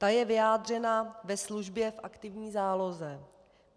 Ta je vyjádřena ve službě v aktivní záloze.